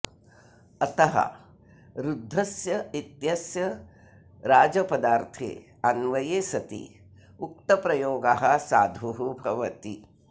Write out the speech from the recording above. अतः ऋद्धस्य इत्यस्य राजपदार्थे अन्वये सति उक्तप्रयोगः साधुः भवति